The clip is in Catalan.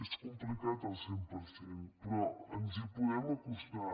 és complicat al cent per cent però ens hi podem acostar